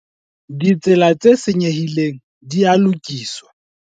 Ditsela tse senyehileng di a lokiswa.